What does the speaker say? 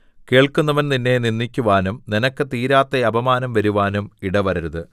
കേൾക്കുന്നവൻ നിന്നെ നിന്ദിക്കുവാനും നിനക്ക് തീരാത്ത അപമാനം വരുവാനും ഇടവരരുത്